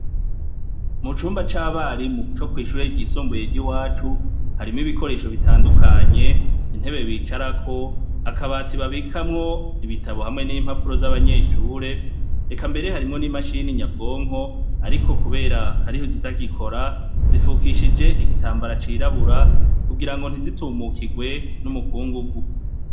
Mu cumba c'abarimu co kwishura ryisomboye ry'i wacu harimo ibikoresho bitandukanye intebe bicarako akabati babikamwo ibitabo hamwe n'impapuro z'abanyeshure reka mbere harimwo n'imashini nyabwonko, ariko, kubera hariho zitagikora zifukishije igitambara cirabura ka ugira ngo ntizitumukirwe n'umukungu gu.